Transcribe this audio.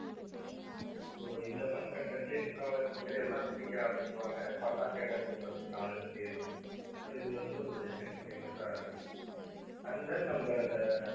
so இந்த fun content லயே முக்காவாசி பேர் எல்லாம் சிரிக்க ஆரம்பிச்சிடுவாங்க fun ஆ status போடுறதுக்கு நாலு அஞ்சு தேறும் so இது வந்து ஒரு best entertainment ஆ இருக்கும் and then நம்ம இந்த